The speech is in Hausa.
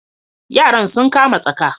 Yaran sun kama tsaka.